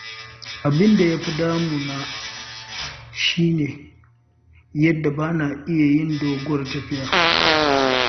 Abin da ya fi damu na shi ne yadda ba na iya yin doguwar tafiya.